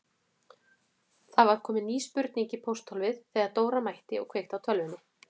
Það var komin ný spurning í pósthólfið þegar Dóra mætti og kveikti á tölvunni.